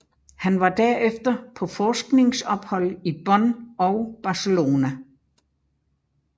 Han var derefter på forskningsophold i Bonn og Barcelona